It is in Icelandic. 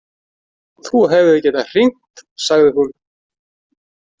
Þú hefðir getað hringt, sagði hún.